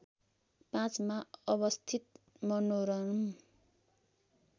५ मा अवस्थित मनोरम